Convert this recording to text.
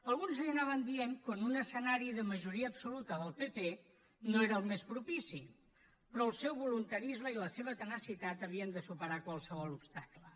alguns li anàvem dient que un escenari de majoria absoluta del partit popular no era el més propici però el seu voluntarisme i la seva tenacitat havien de superar qualsevol obstacle